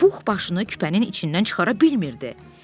Puh başını küpənin içindən çıxara bilmirdi.